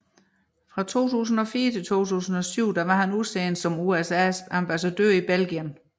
Fra 2004 til 2007 var han udsendt som USAs ambassadør i Belgien